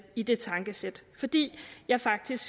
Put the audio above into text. i det tankesæt fordi jeg faktisk